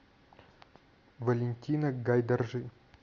валентина гайдаржи